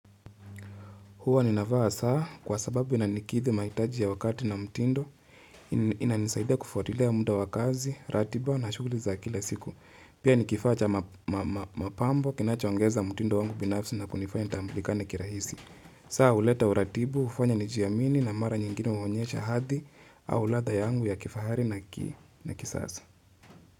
Huwa ninavaa saa kwa sababu inanikidhi maitaji ya wakati na mtindo, inanisaidia kufuatilia muda wa kazi, ratiba na shughuli za kila siku. Pia ni kifaa cha mapambo kinachoongeza mtindo wangu binafsi na kunifanya nitamblikane kirahisi. Saa uleta uratibu, ufanya nijiamini na mara nyingine huonyesha hadhi au ladha yangu ya kifahari na kisasa.